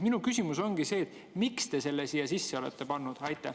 Minu küsimus ongi see: miks te selle siia sisse olete pannud?